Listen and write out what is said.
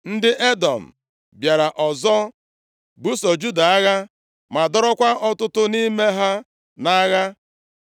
Ndị Edọm bịara ọzọ buso Juda agha, ma dọrọkwa ọtụtụ nʼime ha nʼagha.